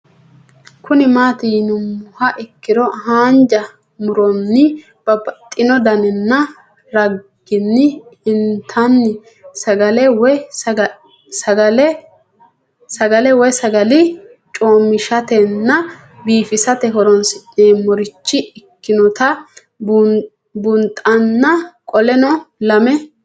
Kuni mati yinumoha ikiro hanja muroni babaxino daninina ragini intani sagale woyi sagali comishatenna bifisate horonsine'morich ikinota bunxana qoleno lame